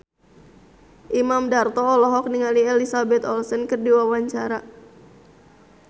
Imam Darto olohok ningali Elizabeth Olsen keur diwawancara